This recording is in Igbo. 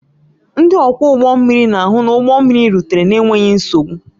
Ndị ọkwọ ụgbọ mmiri na-ahụ na ụgbọ mmiri rutere n'enweghị nsogbu